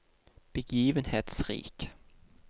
begivenhetsrik